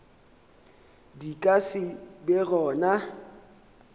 di ka se be gona